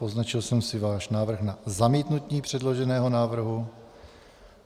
Poznačil jsem si váš návrh na zamítnutí předloženého návrhu.